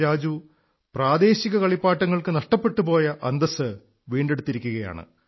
രാജു പ്രാദേശിക കളിപ്പാട്ടങ്ങൾക്ക് നഷ്ടപ്പെട്ടു പോയ അന്തസ്സ് വീണ്ടെടുത്തിരിക്കയാണ്